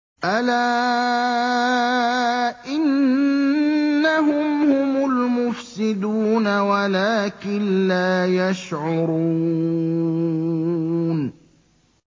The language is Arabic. أَلَا إِنَّهُمْ هُمُ الْمُفْسِدُونَ وَلَٰكِن لَّا يَشْعُرُونَ